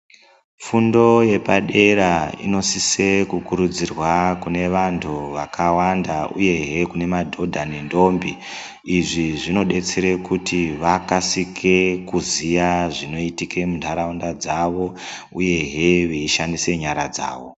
Fundo yepadera inosisa kukurudzirwa kune vantu vakawanda uyehe kune madhodha nendombi izvi zvinodetsera kuti vakasike kuziya zvinoitika mundaraunda dzawo uyehe veishandisa nyara dzawo.